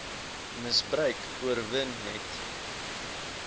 misbruik oorwin net